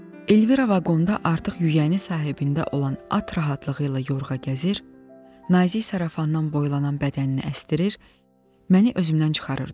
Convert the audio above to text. Elvira vaqonda artıq yüyənini sahibində olan at rahatlığı ilə yorğa gəzir, nazik şarafanın boylanan bədənini əsdirir, məni özümdən çıxarırdı.